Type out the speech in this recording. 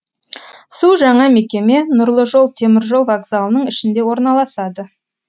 су жаңа мекеме нұрлы жол теміржол вокзалының ішінде орналасады